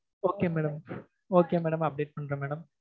okay madam okay madam update பண்றேன் madam